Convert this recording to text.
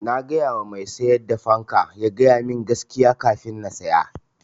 Na gayawa mai siyar da fanka ya ga yamin gaskiya kafin na siya.